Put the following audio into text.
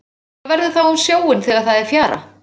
Hvað verður þá um sjóinn þegar það er fjara?